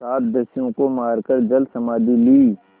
सात दस्युओं को मारकर जलसमाधि ली